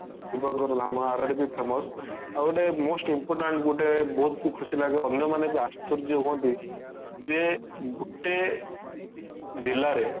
ଶିବଙ୍କର ଧାମ ଆରଡି ପାଇଁ famous ଆଉ ଗୋଟେ most important ଗୋଟେ ବହୁତ ଖୁସିଲାଗେ ଅନ୍ୟମାନେ ବି ଆଶ୍ଚର୍ଯ୍ୟ ହୁଅନ୍ତି ଯେ ଗୋଟେ ଜିଲ୍ଲା ରେ